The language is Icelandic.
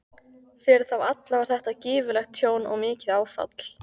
Fyrir þá alla var þetta gífurlegt tjón og mikið áfall.